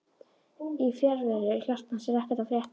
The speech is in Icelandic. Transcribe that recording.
Í fjarveru hjartans er ekkert að frétta